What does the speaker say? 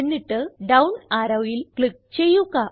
എന്നിട്ട് ഡൌൺ arrowയിൽ ക്ലിക്ക് ചെയ്യുക